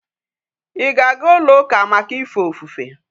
Íga aga ulo uka Maka ife ofufe?